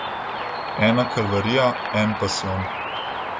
Ena kalvarija, en pasijon.